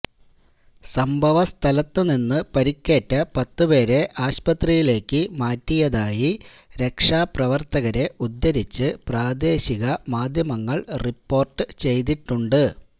സംഭവസ്ഥലത്ത് നിന്ന് പരിക്കേറ്റ പത്ത് പേരെ ആസ്പത്രിയിലേക്ക് മാറ്റിയതായി രക്ഷാപ്രവര്ത്തകരെ ഉദ്ധരിച്ച് പ്രാദേശികമാധ്യമങ്ങള് റിപ്പോര്ട്ട് ചെയ്തിട്ടുണ്ട്